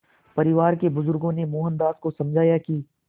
परिवार के बुज़ुर्गों ने मोहनदास को समझाया कि